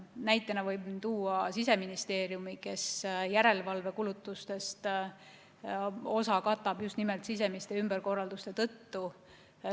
Näitena võin tuua Siseministeeriumi, kes järelevalvekulutustest osa katab just nimelt sisemiste ümberkorralduste kaudu.